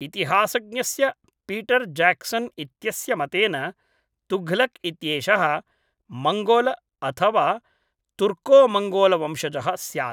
इतिहासज्ञस्य Peter Jackson इत्यस्य मतेन तुघलक् इत्येषः मंगोलअथवा तुर्कोमङ्गोलवंशजः स्यात्।